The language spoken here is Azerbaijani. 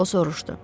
O soruşdu.